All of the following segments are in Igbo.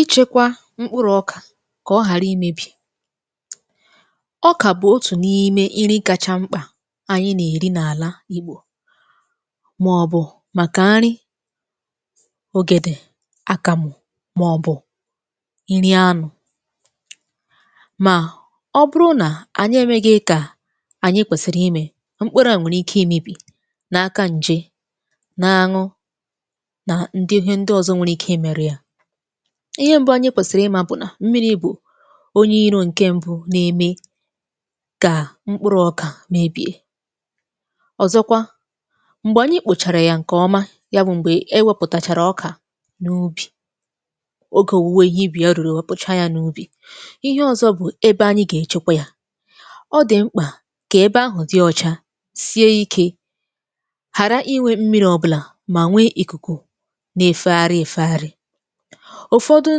Ịchekwa mkpụrụ ọk ka ọ ghara imebi. Ọka bụ otu n’ime nri kacha mkpa anyi na-eri n’ala igbo, ma ọ bụ maka nri ogede, akamụ ma ọ bụ nri anụ. Ma ọ bụrụ na anyi emeghị ka anyi kwesiri ime, mkpụrụ a nwere ike imebi n’aka nje na aṅụ, na ndị ihe ọzọ nwere ike ị merụ ya. Ihe mbu anyị kwesịrị ịma bụ na mmiri bụ onye iro nke mbu na-eme ka mkpụrụ ọka meebie Ọzọkwa, mgbe anyị kpochara ya nke ọma, ya bụ, mgbe e wepụtachara ọka n’ubi, oge owuwe ihe ubi ya ruru e wepụchaa ya n’ubi, ihe ọzọ bụ ebe anyị ga-echekwa ya. Ọ dị mkpa ka ebe ahụ dị ọcha, sie ike, ghara inwe mmiri ọbụla, ma nwee ikuku na-efegharị efegharị. Ụfọdụ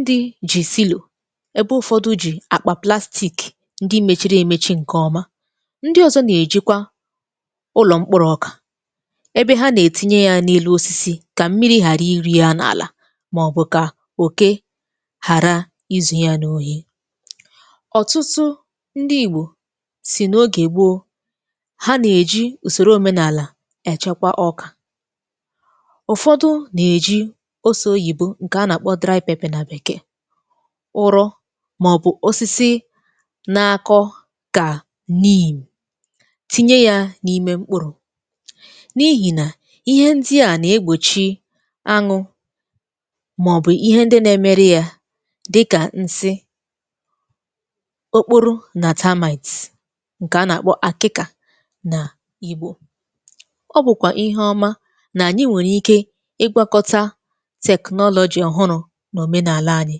ndị ji silo, ebe ụfọdụ ji akpa plastik ndị mechiri emechi nke ọma. Ndị ọzọ na-ejikwa ụlọ mkpụrụ̇ ọka ebe ha na-etinye ya n’elu osisi ka mmiri ghara iri ya n’ala, ma ọ bụ ka oke ghara izu ya n’ohi. Ọtụtụ ndị igbo sị na oge gboo, ha na-eji usoro omenala echekwa ọka. Ụfọdụ na-eji ose oyibo nke a na-akpọ dry pepper, ụrọ, ma ọ bụ osisi na-akọ ka neem na-etinye ya n’ime mkpụrụ, n’ihi na ihe ndị a na-egbochi aṅụ ma ọ bụ ihe ndị na-emeri ya dịka nsị, okporo na termite nke a na-akpọ akịka n’Igbo. Ọ bụkwa ihe ọma, na anyị nwere ike ịgwakọta technology ọhụrụ n’omenala anyị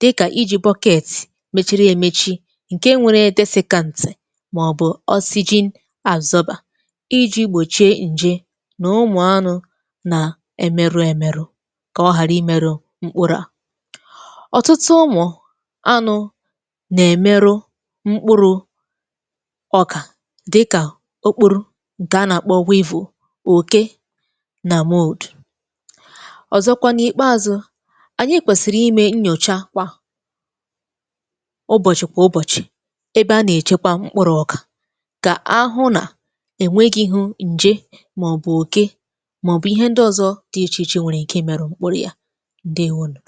dịka iji bucket mechiri emechi, nke nwere desicant, ma ọ bụ oxygen absorber iji gbochie nje na ụmụ anụ na-emeru emerụ ka ọ ghara imerụ mkpụrụ a. Ọtụtụ ụmụ anụ na-emerụ mkpụrụ ọka dịka okporo nke a na-akpọ weevil, oke na mould Ọzọkwa n’ikpeazụ, anyị kwesịrị ime nnyocha kwa ụbọchị kwa ụbọchị ebe a na-echekwa mkpụrụ ọka, ka a hụ na e nweghị nje ma ọ bụ oke ma ọ bụ ihe ndị ọzọ dị iche iche nwere ike ịmẹrụ mkpụrụ ya. Ndewo nu